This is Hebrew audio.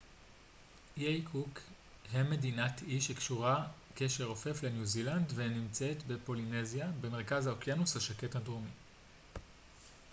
איי קוק הם מדינת אי שקשורה קשר רופף לניו זילנד ונמצאים בפולינזיה במרכז האוקיינוס השקט הדרומי